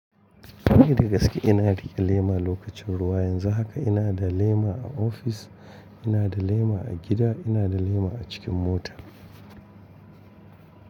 Ni da gaske ina riƙe lema lokacin ruwa. Yanzu haka ina da lema a ofis, ina da lema a gida, ina da lema a cikin mota.